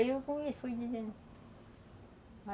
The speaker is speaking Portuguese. Aí eu fui fui dizendo.